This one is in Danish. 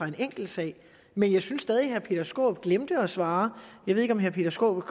en enkeltsag men jeg synes stadig at herre peter skaarup glemte at svare jeg ved ikke om herre peter skaarup